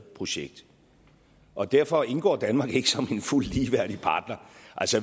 projekt og derfor indgår danmark ikke som en fuldt ligeværdig partner